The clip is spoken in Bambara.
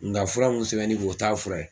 Nga fura mun sɛbɛnnen e kun o t'a fura ye.